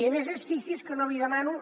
i a més a més fixi’s que no li demano